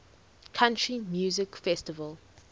country music festival